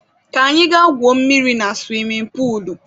Ka anyị ga gwuo mmiri na suwimin puulu.